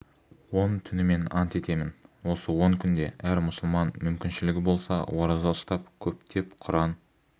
он түнімен ант етемін осы он күнде әр мұсылман мүмкіншілігі болса ораза ұстап көптеп құран